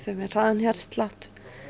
með hraðan hjartslátt